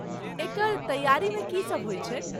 एकर तैआरीमे की सब होइत छै?